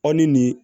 Aw ni nin